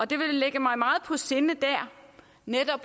det vil ligge mig meget på sinde der netop